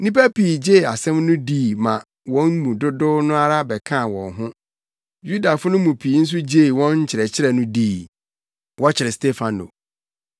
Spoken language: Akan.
Nnipa pii gyee asɛm no di maa wɔn mu dodow no ara bɛkaa wɔn ho. Yudafo no mu pii nso gyee wɔn nkyerɛkyerɛ no dii. Wɔkyere Stefano